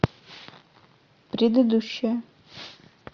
предыдущая